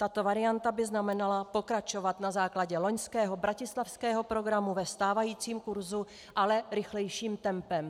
Tato varianta by znamenala pokračovat na základě loňského bratislavského programu ve stávajícím kurzu, ale rychlejším tempem.